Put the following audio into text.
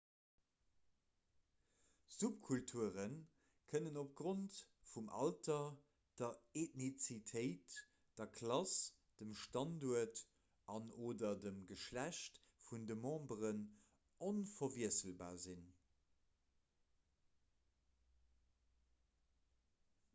subkulture kënnen opgrond vum alter der eethnizitéit der klass dem standuert an/oder dem geschlecht vun de memberen onverwiesselbar sinn